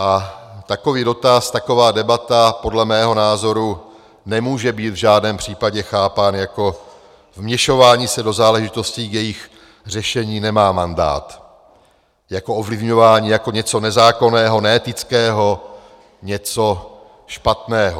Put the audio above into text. A takový dotaz, taková debata podle mého názoru nemůže být v žádném případě chápána jako vměšování se do záležitostí, k jejichž řešení nemám mandát, jako ovlivňování, jako něco nezákonného, neetického, něco špatného.